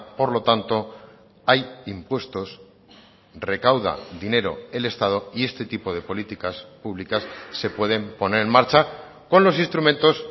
por lo tanto hay impuestos recauda dinero el estado y este tipo de políticas públicas se pueden poner en marcha con los instrumentos